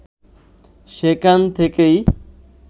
সেখান থেকেই